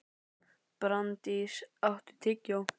Branddís, áttu tyggjó?